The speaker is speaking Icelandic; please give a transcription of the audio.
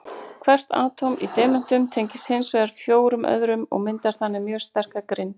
Hvert atóm í demöntum tengist hins vegar fjórum öðrum og myndar þannig mjög sterka grind.